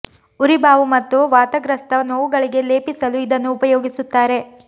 ಉರಿ ಬಾವು ಮತ್ತು ವಾತಗ್ರಸ್ತ ನೋವುಗಳಿಗೆ ಲೇಪಿ ಸಲು ಇದನ್ನು ಉಪಯೋಗಿಸುತ್ತಾರೆ